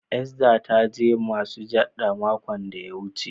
"Esther " ta je masujaɗa makon da ya wuce.